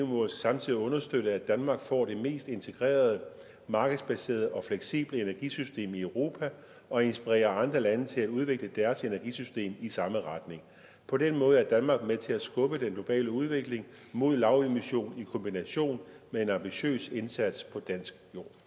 må samtidig understøtte at danmark får det mest integrerede markedsbaserede og fleksible energisystem i europa og inspirerer andre lande til at udvikle deres energisystem i samme retning på den måde er danmark med til at skubbe den globale udvikling mod lavemission i kombination med en ambitiøs indsats på dansk